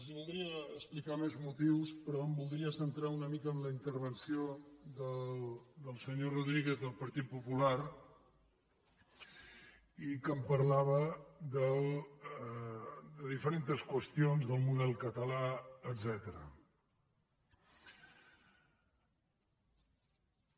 els voldria explicar més motius però em voldria centrar una mica en la intervenció del senyor rodríguez del partit popular que parlava de diferents qüestions del model català etcètera